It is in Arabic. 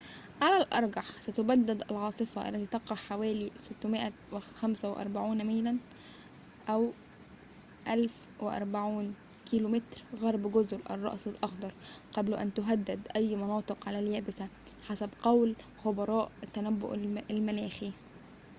على الأرجح، ستتبدّد العاصفة، التي تقع حوالي 645 ميلاً 1040 كم غرب جزر الرأس الأخضر، قبل أن تهدّد أي مناطق على اليابسة، حسب قول خبراء التنبؤ المناخي